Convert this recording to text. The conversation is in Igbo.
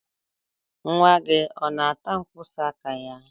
Nwa gị ọ na-ata mkpịsị aka ya?